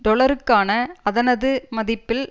டொலருக்கான அதனது மதிப்பில்